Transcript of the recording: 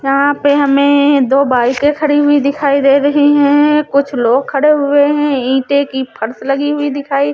यहाँ पे हमें दो बाइके खड़ी हुई दिखाई दे रही हैं कुछ लोग खड़े हुए हैं ईंटे की फर्श लगी हुई दिखाई--